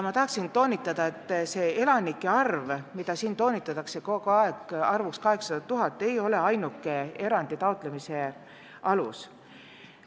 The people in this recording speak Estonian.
Tahangi toonitada, et elanike arv, millele siin kogu aeg viidatakse – see 800 000 –, ei ole ainuke erandi taotlemise alus.